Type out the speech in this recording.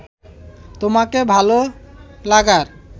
তোমাকে ভালো লাগার